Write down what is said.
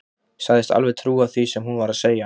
Sagðist alveg trúa því sem hún var að segja.